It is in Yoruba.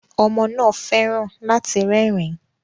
Ọmọ náà fẹ́ràn láti rẹ́rìn-ín